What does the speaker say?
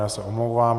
Já se omlouvám.